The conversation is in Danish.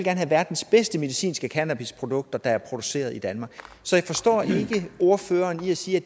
have verdens bedste medicinske cannabisprodukter produceret i danmark så jeg forstår ikke at ordføreren siger